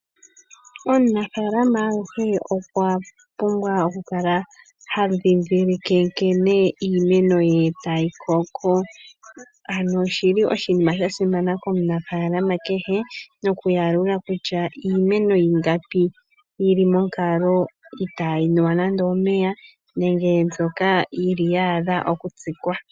Omunafalama aluhe okwa pumbwa okukala ha dhidhilike nkene iimeno ye tayi koko. Ano oshili oshinima shasimana komunafalama kehe noku yalula kutya iimeno ingapi yili monkalo itayi nuwa nande omeya nenge mbyoka yili ya adha oku tsikwa.